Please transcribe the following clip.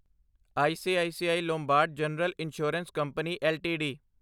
ICICI Lombard general insurance company LTD